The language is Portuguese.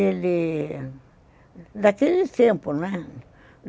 Ele... Daquele tempo, né?